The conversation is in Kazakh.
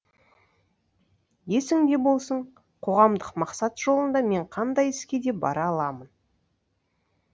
есіңде болсын қоғамдық мақсат жолында мен қандай іске де бара аламын